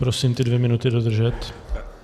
Prosím ty dvě minuty dodržet.